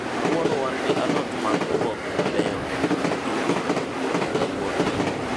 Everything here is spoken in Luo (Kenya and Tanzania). kawuono wan gi alot mag oboke mabeyo ahinya, giwuok e puotho kawuono